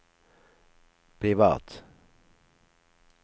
privat